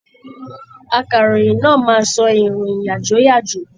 Akaròyìn náà máa sọ ìròyìn yàjóyàjó.